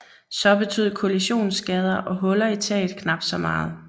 Så betød kollisionsskader og huller i taget knap så meget